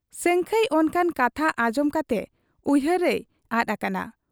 ᱥᱟᱹᱝᱠᱷᱟᱹᱭ ᱚᱱᱠᱟᱱ ᱠᱟᱛᱷᱟ ᱟᱸᱡᱚᱢ ᱠᱟᱛᱮ ᱩᱭᱦᱟᱹᱨ ᱨᱮᱭ ᱟᱫ ᱟᱠᱟᱱᱟ ᱾